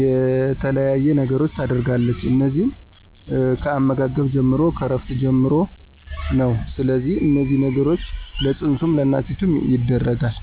የተለያየ ነገሮችን ታደርጋለች እነዚህም ከአመጋገብ ጀምሮ፣ ከእረፍት ጀምሮ ነው ስለዚህ እነዚህን ነገሮች ለፅንሱም ለእናቲቱም ይደረጋል።